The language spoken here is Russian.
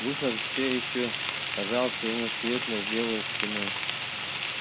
выход все ещё казался ему светлой белой стеной